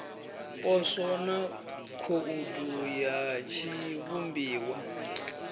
poswo na khoudu ya tshiivhumbiwa